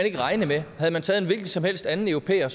ikke regne med havde man taget en hvilken som helst anden europæer